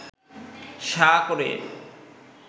সাঁ করে